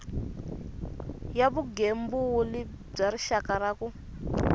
ya vugembuli bya rixaka ku